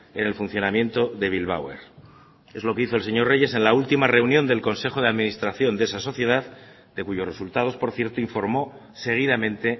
en el funcionamiento de bilbao air es lo que hizo el señor reyes en la última reunión del consejo de administración de esa sociedad de cuyos resultados por cierto informó seguidamente